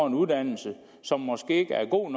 en uddannelse som måske ikke er god